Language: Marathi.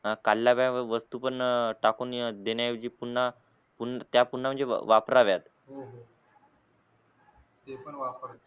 ते पण वापर